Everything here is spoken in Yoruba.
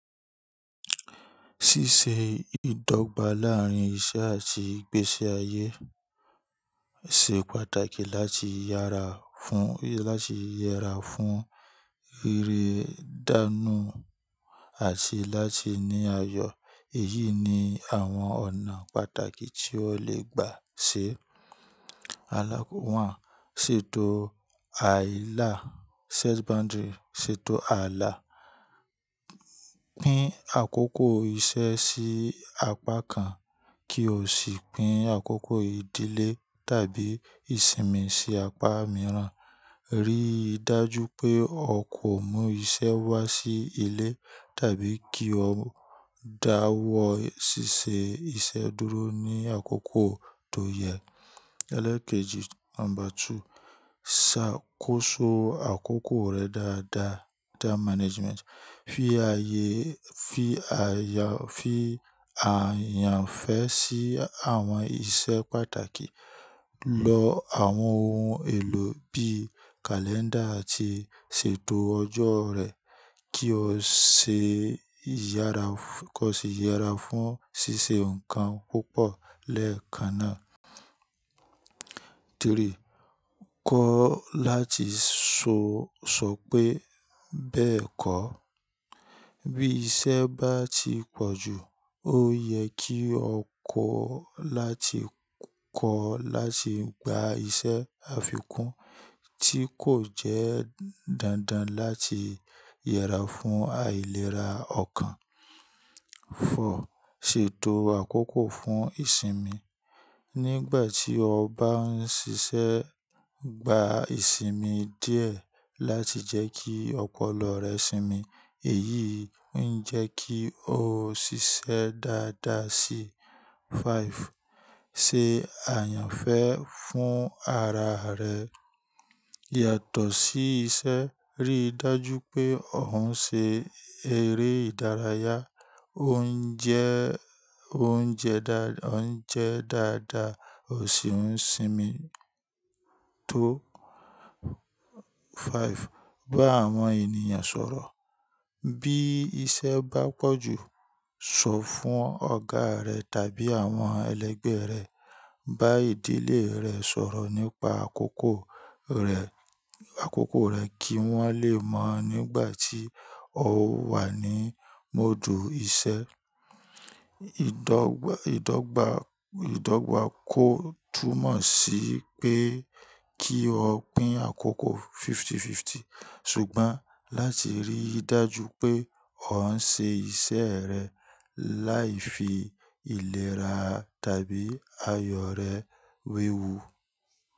Ṣíṣe ìdọ́gba láárín iṣẹ́ àti ìgbésí ayé ṣe pàtàkì láti yára fún, láti yẹra fún ríre dánù àti láti ní ayọ. Èyí ni àwọn ọ̀nà pàtàkì tí o lè gbà ṣe. Alákò rán, ṣètò àìlá, set boundary, ṣètò ààlà. Pín àkókò iṣẹ́ sí apá kan kí o sì pín àkókò ìdílé tàbí ìsinmi sí apá mìíràn. Rí dájú pé o kò mú iṣẹ́ wá sí ilé tàbí kí o dáwọ́ ṣíṣe iṣẹ́ dúró ní àkókò tó yẹ. Eleekeji number two, ṣàkóso àkókò rẹ dáadáa, time management. Fi aayé, fi àayà, fi àyànfẹ́ sí àwọn iṣẹ́ pàtàkì. Lọ àwọn ohun èlò bí i calendar àti ṣètò ọjọ́ rẹ kí o ṣe yára, kí o sì yẹra fún ṣíṣe nǹkan púpọ̀ lẹ́ẹ̀kan náà. Three, koọ́ láti sọ, sọ pé bẹ́ẹ̀ kọ́. Bí iṣẹ́ bá ti pọ̀ jù, ó yẹ kí o kọ́ láti, kọ́ láti gba iṣẹ́ àfikún tí kò jẹ́ dándán láti yẹra fún àìlera ọkàn. Fọur, ṣètò àkókò fún ìsinmi. Nígbà tí o bá ń ṣiṣẹ́, gba ìsinmi díẹ̀ láti jẹ́ kí ọpọlọ rẹ sinmi. Èyí ń jẹ́ kí o ṣiṣẹ́ dáadáa síì. Five, ṣe àyànfẹ́ fún araa rẹ. Yàtọ̀ sí iṣẹ́. Rí dájú pé o ń ṣe eré ìdárayá. O ń jẹ, o ń jẹ dá, o ń jẹ dáadáa. O sì ń sinmi. Tọ́. Five, bá àwọn ènìyàn sọ̀rọ̀. Bí iṣẹ́ bá pọ̀ jù, sọ fún ọ̀gá rẹ tàbí àwọn ẹlẹgbẹ́ rẹ. Bá ìdílé rẹ sọ̀rọ̀ nípa àkókò rẹ, àkókò rẹ kí wọ́n lè mọ̀ nígbà tí o wà ní módù iṣẹ́. Ìdọ́gba, ìdọ́gba, ìdọ́gba kò túmọ̀ sí pé kí o pín àkókò fifty-fifty. Ṣùgbọ́n láti rí dájú pé o ń ṣe iṣẹ́ rẹ láì fi ìlera tàbí ayọ rẹ wewú.